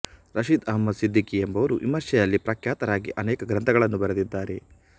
ರಷೀದ್ ಅಹಮದ್ ಸಿದ್ದಿಕ್ಕಿ ಎಂಬುವರು ವಿಮರ್ಶೆಯಲ್ಲಿ ಪ್ರಖ್ಯಾತರಾಗಿ ಅನೇಕ ಗ್ರಂಥಗಳನ್ನು ಬರೆದಿದ್ದಾರೆ